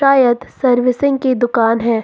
शायद सर्विसिंग की दुकान है।